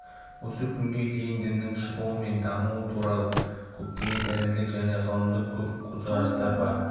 осы күнге дейін діннің шығуы мен дамуы туралы көптеген ілімдік және ғылымдық көп көзқарастар бар